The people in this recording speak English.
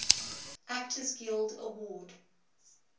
actors guild award